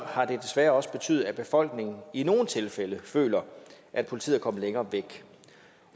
har det desværre også betydet at befolkningen i nogle tilfælde føler at politiet er kommet længere væk